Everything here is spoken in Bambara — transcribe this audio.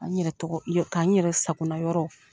Ka n yɛrɛ tɔgɔ ka n yɛrɛ sakona yɔrɔ